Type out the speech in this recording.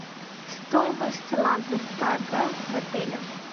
стоимость лазертага в отеле